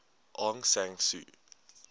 aung san suu